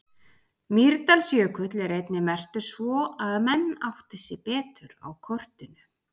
Mýrdalsjökull er einnig merktur svo að menn átti sig betur á kortinu.